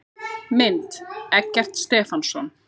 Mynd: Eggert Stefánsson.